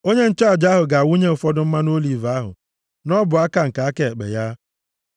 Onye nchụaja ahụ ga-awụnye ụfọdụ mmanụ oliv ahụ nʼọbụaka nke aka ekpe ya,